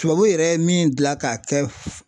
Tubabu yɛrɛ ye min gilan k'a kɛ